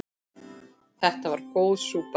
Þetta var góð súpa.